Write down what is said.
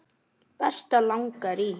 Berta langar í.